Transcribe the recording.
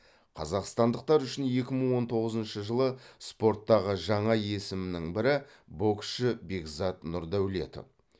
қазақстандықтар үшін екі мың он тоғызыншы жылы спорттағы жаңа есімнің бірі боксшы бекзат нұрдәулетов